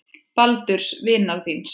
Baldurs vinar þíns.